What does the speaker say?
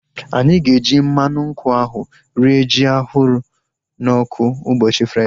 Anyị ga-eji mmadụ nkwụ ahu rie ji ahụrụ n'ọkụ ụbọchị Fraịdee